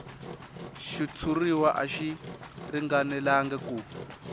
xitshuriwa a xi ringanelangi ku